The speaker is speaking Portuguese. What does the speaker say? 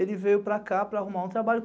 Ele veio para cá para arrumar um trabalho.